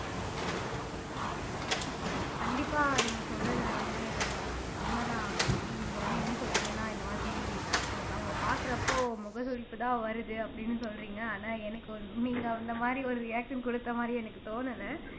கண்டிப்பா நீங்க சொல்றது வந்து உண்மைதான் கோமதி நீங்க வந்து என்ன சொல்றீங்கன்னா இந்த மாதிரி எனக்கு அவங்களை பாக்குறப்போ முகசுளிப்பு தான் வருது அப்படின்னு சொல்றீங்க ஆனா எனக்கு நீங்க அந்த மாதிரி ஒரு reaction கொடுத்த மாதிரி எனக்கு தோணல